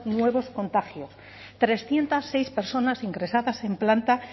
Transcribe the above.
nuevos contagios trescientos seis personas ingresadas en planta